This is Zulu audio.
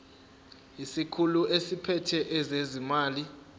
isikhulu esiphethe ezezimali